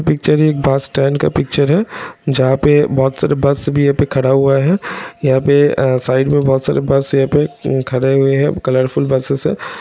Picture है एक bus stand का पिक्चर है जहाँ पे बहोत सारे बस भी यहाँ पे खड़ा हुआ है| यहाँ पे साइड मे बहोत सारे बस यहाँ पे खड़े हुए हैं| कलरफूल बसेस हैं।